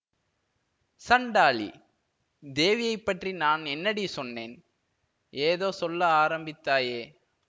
சண்டாளி தேவியைப் பற்றி நான் என்னடி சொன்னேன் ஏதோ சொல்ல ஆரம்பித்தாயே